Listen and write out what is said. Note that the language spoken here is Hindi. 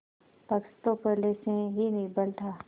पक्ष तो पहले से ही निर्बल था